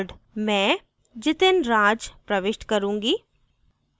मैं jitinraj प्रविष्ट करूँगी